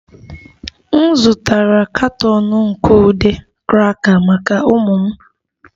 M zụtara katọn nke ude cracker maka ụmụ m